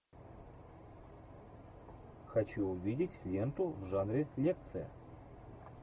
хочу увидеть ленту в жанре лекция